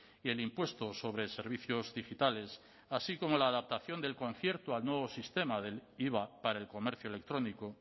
y el impuesto sobre servicios digitales así como la adaptación del concierto al nuevo sistema de iva para el comercio electrónico